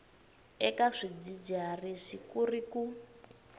eka swidzidziharisi ku ri ku